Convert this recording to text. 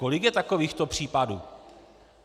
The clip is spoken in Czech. Kolik je takovýchto případů?